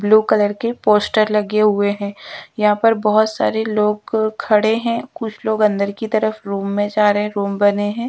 Blue colour के poster लगे हुए है यहाँ पर बहुत सारे लोग खड़े हैं कुछ लोग अंदर की तरफ रूम में जा रहे हैं रूम बने है।